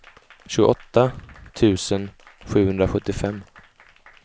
tjugoåtta tusen sjuhundrasjuttiofem